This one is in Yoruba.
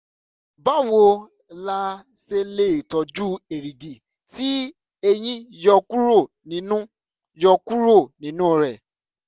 báwo la ṣe lè tọ́jú èrìgì tí eyín yọ kúrò nínú yọ kúrò nínú rẹ̀?